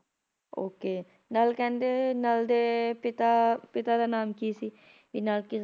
okay Nal ਕਹਿੰਦੇ ਨਲ ਦੇ ਪਿਤਾ ਪਿਤਾ ਦਾ ਨਾਮ ਕੀ ਸੀ, ਕੀ ਨਲ